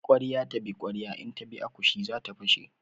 Ƙwarya ta bi ƙwarya in ta bi akushi zata fashe.